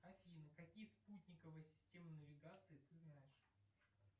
афина какие спутниковые системы навигации ты знаешь